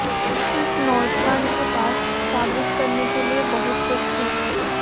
इस नौजवान के पास साबित करने के लिए बहुत कुछ है